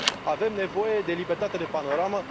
Avem nevoie de libertate de panoramă.